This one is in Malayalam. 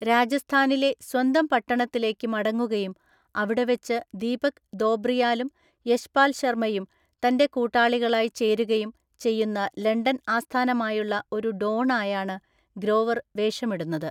രാജസ്ഥാനിലെ സ്വന്തം പട്ടണത്തിലേക്ക് മടങ്ങുകയും അവിടെവെച്ച് ദീപക് ദോബ്രിയാലും യശ്പാൽ ശർമ്മയും തൻ്റെ കൂട്ടാളികളായി ചേരുകയും ചെയ്യുന്ന ലണ്ടൻ ആസ്ഥാനമായുള്ള ഒരു ഡോണായാണ് ഗ്രോവർ വേഷമിടുന്നത്.